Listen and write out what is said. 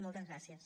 moltes gràcies